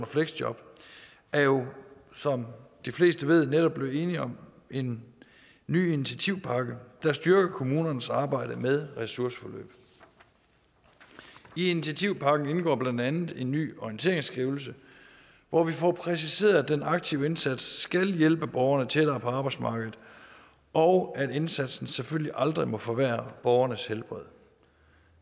fleksjob er jo som de fleste ved netop blevet enig om en ny initiativpakke der styrker kommunernes arbejde med ressourceforløb i initiativpakken indgår blandt andet en ny orienteringsskrivelse hvor vi får præciseret at den aktive indsats skal hjælpe borgerne tættere på arbejdsmarkedet og at indsatsen selvfølgelig aldrig må forværre borgernes helbred